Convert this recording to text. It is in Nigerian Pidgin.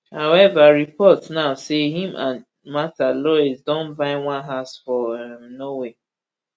however reports now say im and mrtha louise don buy one house for um norway